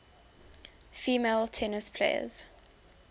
female tennis players